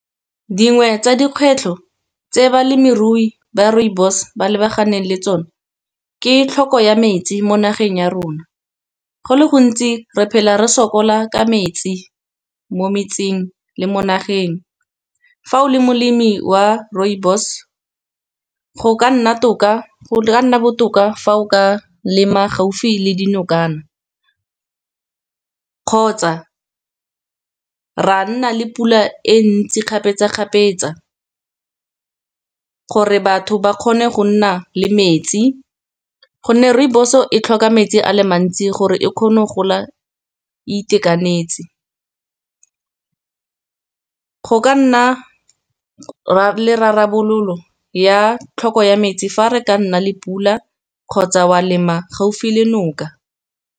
dingwe tsa dikgwetlho tse balemirui ba rooibos ba lebaganeng le tsone, ke tlhoko ya metsi mo nageng ya rona. Go le gontsi re phela re sokola ka metsi mo metseng le mo nageng. Fa o le molemi wa rooibos go ka nna botoka fa o ka lema gaufi le dinokana, kgotsa ra nna le pula e ntsi kgapetsa-kgapetsa. Gore batho ba kgone go nna le metsi, gonne rooibos-o e tlhoka metsi a le mantsi gore e kgone go gola e itekanetse. Go ka nna le rarabololo ya tlhoko ya metsi fa re ka nna le pula, kgotsa wa lema gaufi le noka.